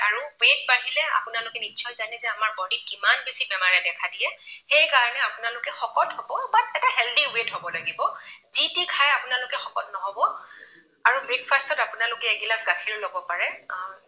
আৰু weight বাঢ়িলে আপোনালোকে নিশ্চয় জানে যে আমাৰ body ত কিমান বেছি বেমাৰে দেখা দিয়ে। সেইকাৰণে আপোনালোকে শকত হব but এটা healthy way ত হব লাগিব। যি তি খাই আপোনালোকে শকত নহব আৰু breakfast ত আপোনালোকে এগিলাচ গাখীৰ লব পাৰে আ